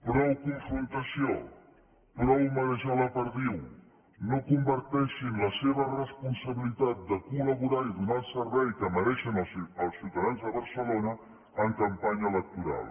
prou confrontació prou marejar la perdiu no converteixin la seva responsabilitat de col·laborar i donar el servei que mereixen els ciutadans de barcelona en campanya electoral